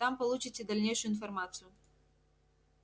там получите дальнейшую информацию